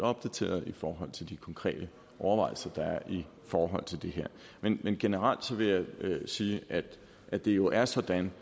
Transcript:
opdateret i forhold til de konkrete overvejelser der er i forhold til det her men generelt vil jeg sige at det jo er sådan